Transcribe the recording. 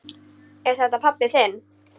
Er þetta pabbi þinn?